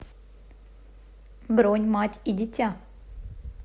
бронь мать и дитя